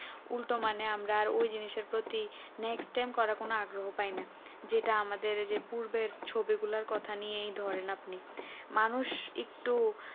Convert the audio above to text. উল্টো মানে আমরা ওই জিনিসের প্রতি next time করার কোনো আগ্রহ পায়না যেটা আমাদের যে পূর্বে ছবি লার কথা নিয়ে ধরে নাও আপনি আর মানুষ একটু